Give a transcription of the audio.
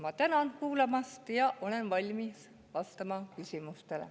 Ma tänan kuulamast ja olen valmis vastama küsimustele.